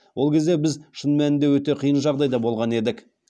ол кезде біз шын мәнінде өте қиын жағдайда болған едік